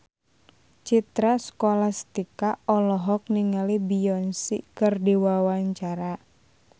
Citra Scholastika olohok ningali Beyonce keur diwawancara